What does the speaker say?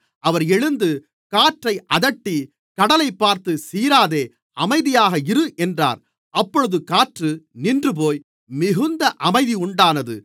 அவர் எழுந்து காற்றை அதட்டி கடலைப்பார்த்து சீராதே அமைதியாக இரு என்றார் அப்பொழுது காற்று நின்றுபோய் மிகுந்த அமைதி உண்டானது